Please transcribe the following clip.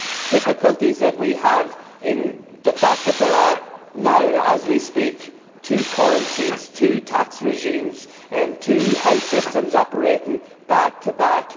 difficulties that we have in the fact that there are now, as we speak, two currencies, two tax regimes, two health systems operating back to back.